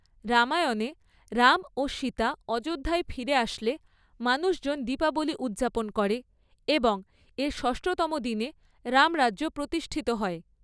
রামায়ণে, রাম ও সীতা অযোধ্যায় ফিরে আসলে মানুষজন দীপাবলি উদ্‌যাপন করে এবং এর ষষ্ঠতম দিনে রামরাজ্য প্রতিষ্ঠিত হয়।